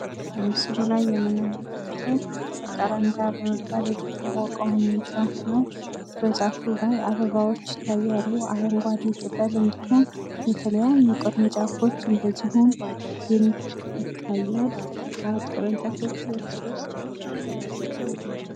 በምስሉ ላይ የምንመለከተው ጃካራንዳ በመባል የሚታወቀውን ዛፍ ነው። በዛፉ ላይ አበቦች ይታያሉ አረንጓደ ቅጠል፤ እንዲሁም የተለያዩ ቅርንጫፎች እንደዚሁም ብልጭ ይታያል። መአት ቅርንጫፎቹ እርስ በርስ የተላለፉ ናቸው።